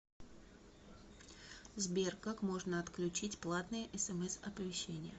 сбер как можно отключить платные смс оповещения